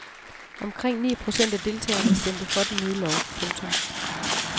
Omkring ni procent af deltagerne stemte for den nye lov. punktum